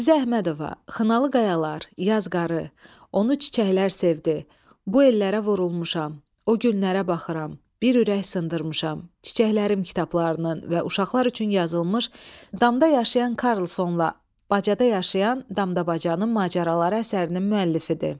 Əzizə Əhmədova "Xınalı qayalar", "Yaz qarı", "Onu çiçəklər sevdi", "Bu yellərə vurulmuşam", "O günlərə baxıram", "Bir ürək sındırmışam", "Çiçəklərim" kitablarının və uşaqlar üçün yazılmış "Damda yaşayan Karlsonla bacada yaşayan Damdabacanın macəraları" əsərinin müəllifidir.